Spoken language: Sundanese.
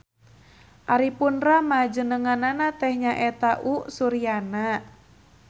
Ari pun rama jenenganana teh nyaeta U.Suryana.